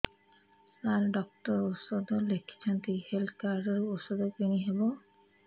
ସାର doctor ଔଷଧ ଲେଖିଛନ୍ତି health card ରୁ ଔଷଧ କିଣି ହେବ